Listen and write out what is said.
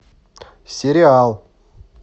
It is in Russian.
сериал